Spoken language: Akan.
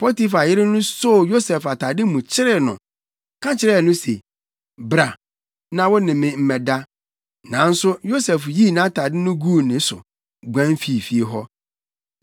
Potifar yere no soo Yosef atade mu kyeree no, ka kyerɛɛ no se, “Bra na wo ne me mmɛda!” Nanso Yosef yii nʼatade no guu ne so, guan fii fie hɔ.